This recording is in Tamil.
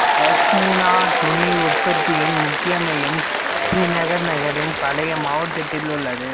பஷ்மினா துணி உற்பத்தியின் முக்கிய மையம் ஸ்ரீநகர் நகரின் பழைய மாவட்டத்தில் உள்ளது